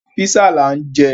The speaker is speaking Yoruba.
Písà là ń jẹ.